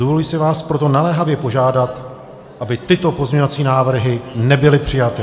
Dovoluji si vás proto naléhavě požádat, aby tyto pozměňovací návrhy nebyly přijaty.